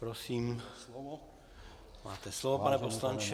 Prosím, máte slovo, pane poslanče.